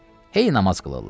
Hey namaz qılırlar.